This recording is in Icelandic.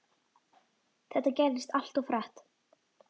Þetta gerðist allt of hratt.